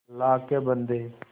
अल्लाह के बन्दे